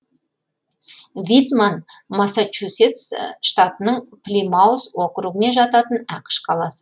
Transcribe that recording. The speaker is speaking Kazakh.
витман массачусетс штатының плимаус округіне жататын ақш қаласы